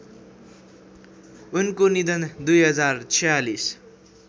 उनको निधन २०४६